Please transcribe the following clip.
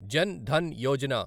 Jan Dhan Yojana